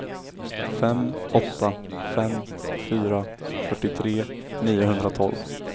fem åtta fem fyra fyrtiotre niohundratolv